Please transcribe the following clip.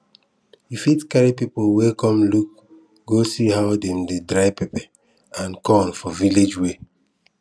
you fit carry people wey come look go see how dem dey dry pepper and corn for village way